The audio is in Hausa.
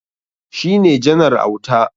Shi ne Janar Auta.